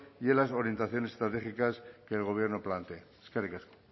y en las orientaciones estratégicas que el gobierno plantee eskerrik asko